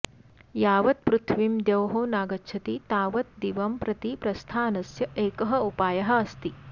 यावत् पृथ्वीं द्यौः नागच्छति तावत् दिवं प्रति प्रस्थानस्य एकः उपायः अस्ति